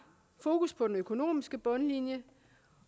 fokus på den økonomiske bundlinje